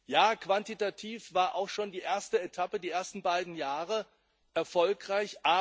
Ja, quantitativ war auch schon die erste Etappe, die ersten beiden Jahre, erfolgreich.